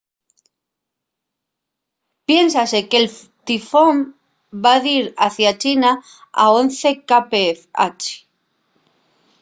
piénsase que'l tifón va dir hacia china a once kph